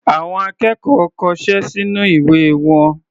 Àwọn akẹ́kọ̀ọ́ kọṣẹ́ sínú ìwé wọn.